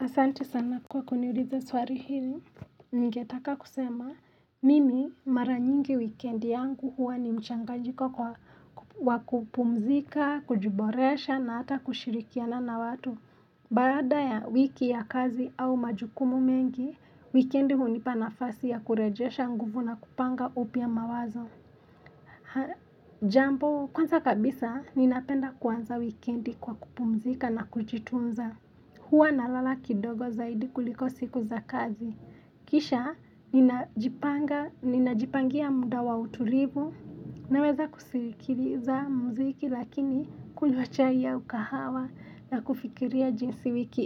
Asante sana kwa kuniuliza swali hili ningetaka kusema mimi mara nyingi weekend yangu huwa ni mchanganyiko wa kupumzika kujuboresha na hata kushirikiana na watu baada ya wiki ya kazi au majukumu mengi weekend hunipanafasi ya kurejesha nguvu na kupanga upya mawazo haa jambo kwanza kabisa ninapenda kuanza weekend kwa kupumzika na kujitunza Hua na lala kidogo zaidi kuliko siku za kazi. Kisha, ninajipangia muda wa utulivu. Naweza kusikiliza muziki lakini kunywa chai au kahawa na kufikiria jinsi wiki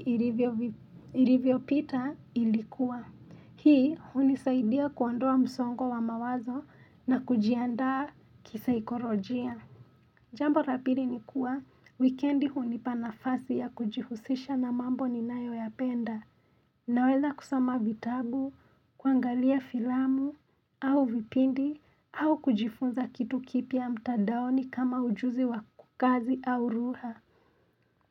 ilivyo pita ilikuwa. Hii hunisaidia kuandua msongo wa mawazo na kujiandaa kisaikorojia Jambo lapili nikuwa, weekendi hunipanafasi ya kujihusisha na mambo ni nayo ya penda Naweza kusoma vitabu, kuangalia filamu, au vipindi, au kujifunza kitu kipya mtandaoni kama ujuzi wa kazi au lugha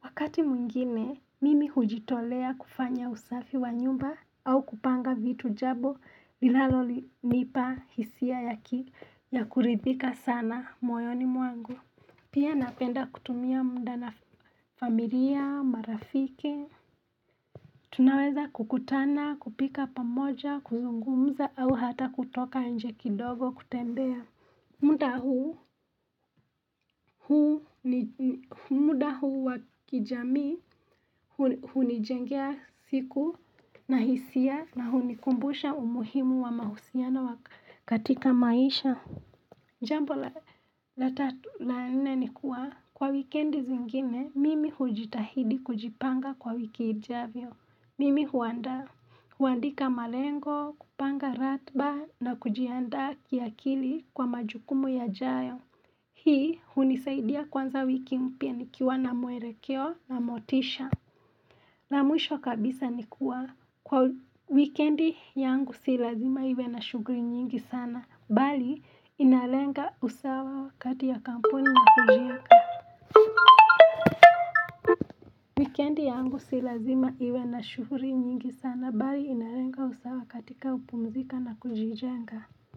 Wakati mwingine, mimi hujitolea kufanya usafi wa nyumba au kupanga vitu jabo linalo nipa hisia ya ki ya kuridhika sana moyoni mwangu. Pia napenda kutumia mda na familia, marafiki. Tunaweza kukutana, kupika pamoja, kuzungumza au hata kutoka nje kidogo kutembea. Muda huu wakijamii hunijengea siku na hisia na hunikumbusha umuhimu wa mahusiana wakatika maisha Jambo la tatu la nne nikuwa kwa wikiendi zingine mimi hujitahidi kujipanga kwa wikiijavyo Mimi huanda huandika malengo kupanga ratba na kujianda kia kili kwa majukumu ya jayo Hii hunisaidia kuanza wiki mpya nikiwa na muerekeo na motisha na mwisho kabisa nikua kwa wikendi yangu silazima iwe na shughuli nyingi sana bali inalenga usawa kati ya kampuni na kujijenga Wikendi yangu silazima iwe na shughuri nyingi sana bali inalenga usawa katika kupumzika na kujijenga.